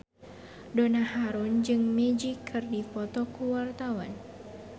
Donna Harun jeung Magic keur dipoto ku wartawan